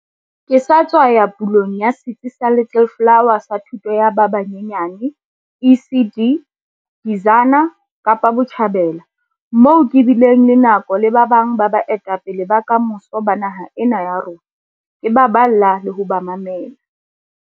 Ke sa tswa ya pulong ya setsi sa Little Flower sa thuto ya ba banyenyane ECD, Bizana, Kapa Botjhabela, moo ke bileng le nako le ba bang ba baetapele ba kamoso ba naha ena ya rona, ke ba balla le ho ba mamela.